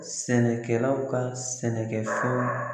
Sɛnɛkɛlaw ka sɛnɛkɛfɛnw